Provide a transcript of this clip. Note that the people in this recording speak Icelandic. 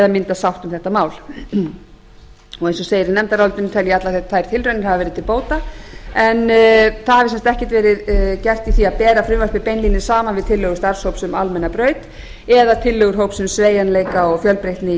mynda sátt um þetta mál eins og segir í nefndarálitinu tel ég að allar þær tilraunir hafi verið til bóta en það hefur sem sagt ekkert verið gert í ári að bera frumvarpið beinlínis saman við tillögur starfshóps sem almenna braut eða tillögur hópsins um sveigjanleika og fjölbreytni í